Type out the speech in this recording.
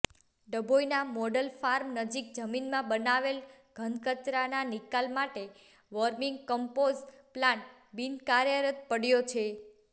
ડભોઇના model farm નજીક જમીનમાં બનાવેલ ઘનકચરાના નિકાલ માટે વોર્મિગ કન્મપોઝ પ્લાન્ટ બિનકાર્યરત પડ્યો છે